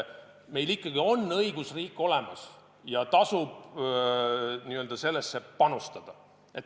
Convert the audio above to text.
Meil ikkagi on õigusriik olemas ja tasub sellesse panustada.